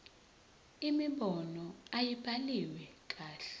imibono ayibhaliwe kahle